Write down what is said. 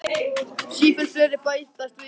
Sífellt fleiri bætast við í dansinn.